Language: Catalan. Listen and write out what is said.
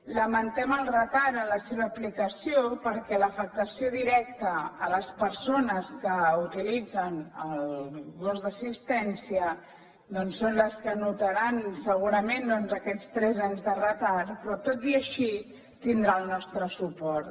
lamentem el retard en la seva aplicació perquè l’afectació directa a les persones que utilitzen el gos d’assistència doncs són les que notaran segurament aquests tres anys de retard però tot i així tindrà el nostre suport